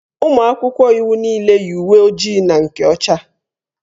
Ụmụ akwụkwọ iwu niile yi uwe ojii na nke ọcha.